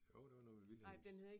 Jo det var noget med Vilhelms